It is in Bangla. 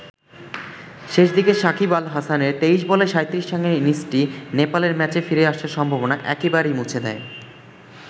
শেষ দিকে শাকিব আল হাসানের ২৩ বলে ৩৭ রানের ইনিংসটি নেপালের ম্যাচে ফিরে আসার সম্ভাবনা একেবারেই মুছে দেয়।